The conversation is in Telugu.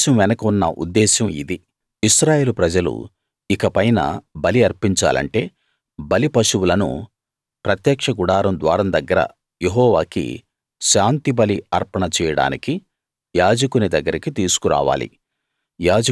ఈ ఆదేశం వెనుక ఉన్న ఉద్దేశం ఇది ఇశ్రాయేలు ప్రజలు ఇక పైన బలి అర్పించాలంటే బలి పశువులను ప్రత్యక్ష గుడారం ద్వారం దగ్గర యెహోవాకి శాంతిబలి అర్పణ చేయడానికి యాజకుని దగ్గరికి తీసుకురావాలి